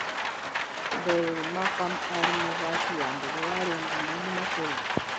Beryl Markham aarĩ mũhaici ndege warĩ ngumo mũno Kenya.